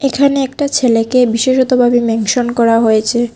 এখানে একটা ছেলেকে বিশেষতভাবে মেনশন করা হয়েছে।